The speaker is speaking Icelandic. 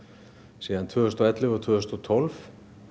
síðan tvö þúsund og ellefu og tvö þúsund og tólf